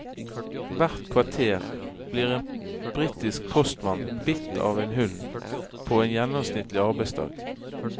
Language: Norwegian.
Hvert kvarter blir en britisk postmann bitt av en hund på en gjennomsnittlig arbeidsdag.